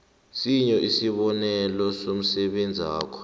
sinye isibonelo somsebenzakho